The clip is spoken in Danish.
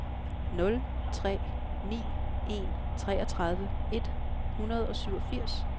nul tre ni en treogtredive et hundrede og syvogfirs